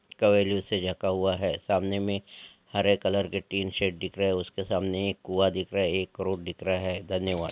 कवरो से ढाका हुआ है सामने मे हरे कलर के टीन शेड दिख रहे हैं उसके सामने एक कुआं दिख रहा है एक रोड दिख रहा है धन्यवाद।